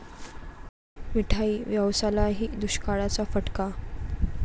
मिठाई व्यवसायालाही दुष्काळाचा फटका!